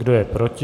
Kdo je proti?